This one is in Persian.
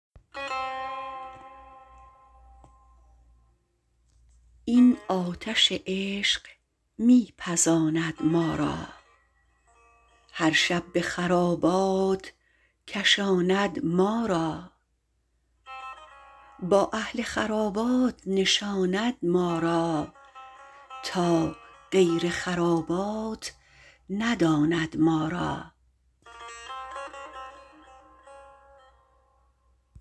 این آتش عشق می پزاند ما را هر شب به خرابات کشاند ما را با اهل خرابات نشاند ما را تا غیر خرابات نداند ما را